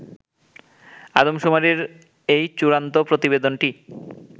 আদমশুমারির এই চুড়ান্ত প্রতিবেদনটি